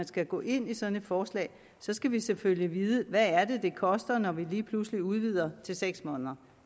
skal gå ind i sådan et forslag skal vi selvfølgelig vide hvad det koster når vi lige pludselig udvider til seks måneder